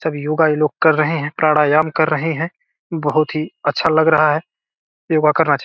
सब योगा ये लोग कर रहे हैं प्रयाराम कर रहे हैं बहुत ही अच्छा लग रहा है योगा करना चाह --